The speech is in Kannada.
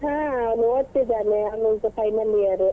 ಅವನೀಗ ಓದ್ತಾ ಇದ್ದಾನೆ ಅವನೀಗ final year